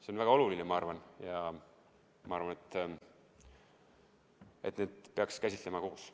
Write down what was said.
See on väga oluline, ma arvan, ja ma arvan, et neid peaks käsitlema koos.